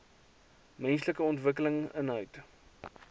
menslike ontwikkeling inhoud